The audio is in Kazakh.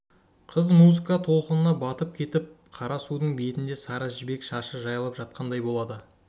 қыз музыка толқынына батып кетіп қара судың бетінде сары жібек шашы жайылып жатқандай болады